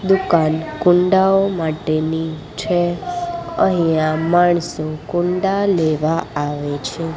દુકાન કુંડાઓ માટેની છે અહીંયા માણસો કુંડા લેવા આવે છે.